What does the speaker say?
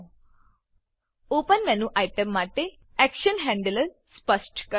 open open menu item માટે action handler સ્પષ્ટ કરો